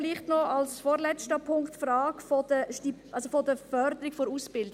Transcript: Vielleicht noch als vorletzter Punkt zur Frage der Förderung der Ausbildung.